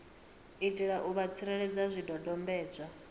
itela u vha tsireledza zwidodombedzwa